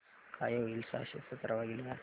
काय होईल सहाशे सतरा भागीले पाच